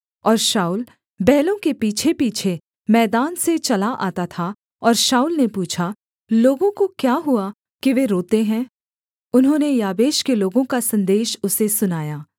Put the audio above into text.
शाऊल बैलों के पीछेपीछे मैदान से चला आता था और शाऊल ने पूछा लोगों को क्या हुआ कि वे रोते हैं उन्होंने याबेश के लोगों का सन्देश उसे सुनाया